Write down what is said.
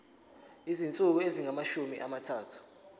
izinsuku ezingamashumi amathathu